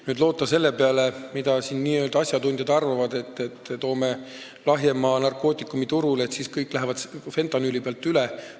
Ei saa loota selle peale, mida n-ö asjatundjad arvavad, et toome lahjema narkootikumi turule, et siis kõik lähevad fentanüüli pealt sellele üle.